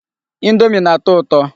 Indomi na-atọ ụtọ.